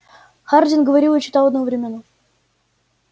хардин говорил и читал одновременно